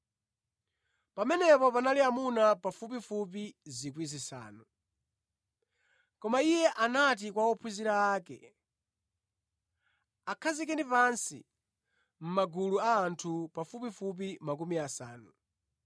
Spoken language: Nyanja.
(Pamenepo panali amuna pafupifupi 5,000). Koma Iye anati kwa ophunzira ake, “Akhazikeni pansi mʼmagulu a anthu pafupifupi makumi asanu.”